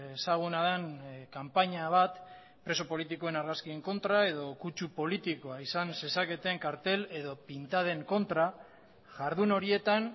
ezaguna den kanpaina bat preso politikoen argazkien kontra edo kutsu politikoa izan zezaketen kartel edo pintaden kontra jardun horietan